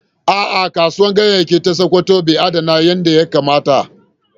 A’a, Kasuwar Ganyayyaki ta Sakkwato ba ta adana kayanta yadda ya kamata.